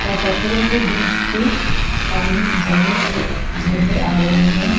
और पत्थरों के बीच से पानी झरने की झरने आ रहे हैं।